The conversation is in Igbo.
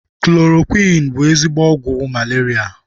Kloroqiin bụ ezigbo ọgwụ malaria